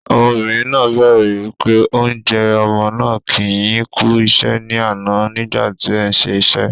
Ọmọbìnrin náà béèrè wípé "Ǹ jẹ̀ ọmọ náà kì yín kú iṣẹ́ ni àná nígbà tí ẹ̀ ń ṣe iṣẹ́."